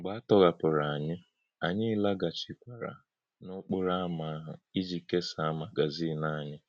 Mḡbè à tọ̀hapụrụ̀ ānyị̄, ānyị̄ lágàchị̀kwàrā n’ọ̀kpórọ̀ ámá̄ áhụ̄ ị́jì̄ kèsàá̄ magazin ānyị̄.